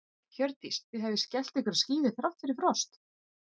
Hjördís: Þið hafið skellt ykkur á skíði þrátt fyrir frost?